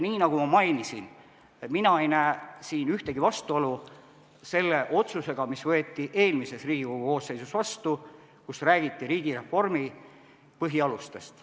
Nii nagu ma mainisin, mina ei näe siin ühtegi vastuolu otsusega, mis võeti vastu eelmises Riigikogu koosseisus ja kus räägiti riigireformi põhialustest.